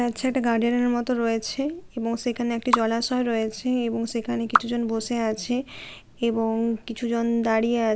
এটা হচ্ছে একটা গার্ডেন -এর মতো রয়েছে এবং সেখানে একটি জলাশয় রয়েছে এবং সেখানে কিছুজন বসে আছে এবং কিছুজন দাঁড়িয়ে আ--